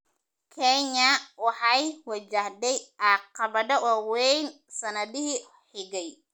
Kenya waxay wajahday caqabado waaweyn sannadihii xigay.